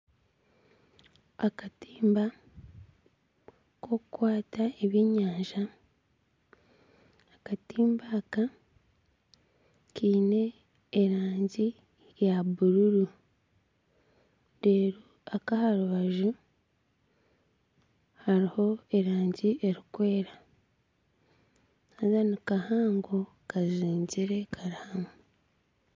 Akatimba akokukwata ebyenyanja akatimba aka kaine erangi eya bururu aha rubaju hariho erangi erikwera haza nikahango kazingire kari hamwe